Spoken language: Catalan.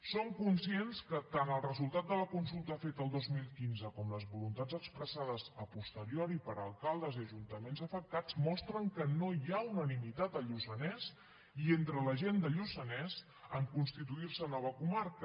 som conscients que tant el resultat de la consulta feta el dos mil quinze com les voluntats expressades a posteriori per alcaldes i ajuntaments afectats mostren que no hi ha unanimitat al lluçanès i entre la gent del lluçanès en constituir se en nova comarca